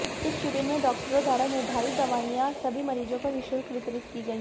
इस शिविर में डाक्टरों द्वारा निर्धारित दवाइयां सभी मरीजों को निःशुल्क वितरित की गई